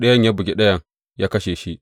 Ɗayan ya bugi ɗayan, ya kashe shi.